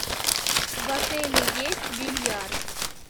в отеле есть бильярд